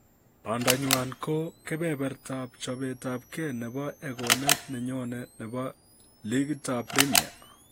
Bandanywa ko kebebertab chobetab gee nebo egonet nenyoe nebo ligitab primia